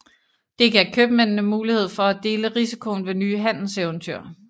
Det gav købmændene mulighed for at dele risikoen ved nye handelseventyr